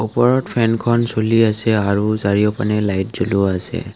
ওপৰত ফেনখন চলি আছে আৰু চাৰিওপিনে লাইট জ্বলোৱা আছে।